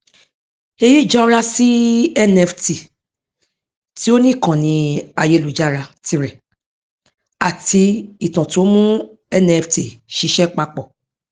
èyí jọra sí nft tí ó ní ìkànnì ayélujára tirẹ àti ìtàn tí ó mú nft ṣiṣẹ papọ